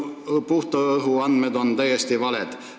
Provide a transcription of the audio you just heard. ... õhu puhtuse andmed on täiesti valed.